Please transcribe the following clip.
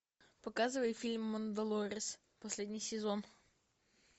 показывай фильм мандалорец последний сезон